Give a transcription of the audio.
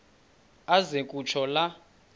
aze kutsho la